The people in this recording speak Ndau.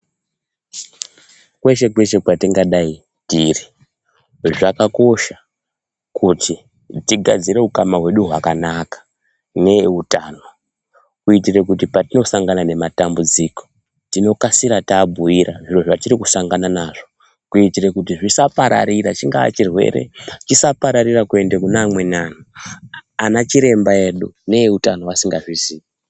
Kweshe-kweshe kwatingadai tiri, zvakakosha kuti tigadzire utano hwedu hwakanaka neeutano. Kuitire kuti patinosangana nematambudziko tinokasira tambuira zviro zvatiri kusangana nazvo. Kuitire kuti zvisapararira chingaa chirwere chisapararira kuende kune amweni antu, ana chiremba edu neeutano asingazvizii.